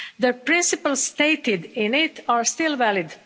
The principles stated in it are still valid.